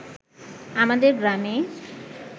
আমাদের গ্রামে